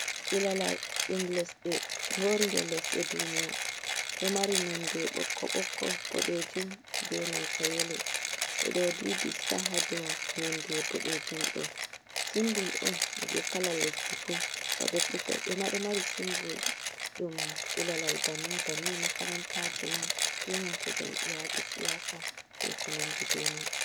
Ilalal ɗum lesɗe ngori nder lesɗe duniya ɗo mari nonde bokko bokko boɗejum be nanta yelo ɓeɗo ɗiɗi star haɗou, nonde bodejum ɗo simbul on je kalal lesdi fu, babe kugalɗema ɗo mari simbul ɗum ilalal banni banni makarantajema ɓenanta jam'iyaji siyasa be konandi be man.